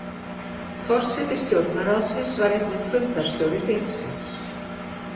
Forseti stjórnarráðsins var einnig fundarstjóri þingsins.